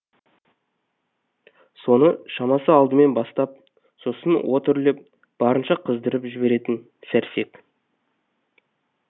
соны шамасы алдымен бастап сосын от үрлеп барынша қыздырып жіберетін сәрсек